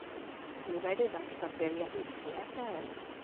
Nu är det dags att välja husläkare.